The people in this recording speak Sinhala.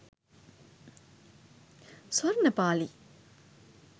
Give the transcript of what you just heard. swarnapali